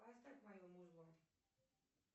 поставь мое музло